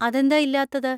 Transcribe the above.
അതെന്താ ഇല്ലാത്തത്?